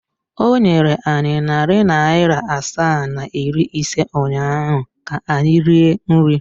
O nyere anyị narị naira asaa na iri ise ụnyahụ ka anyị rie nri.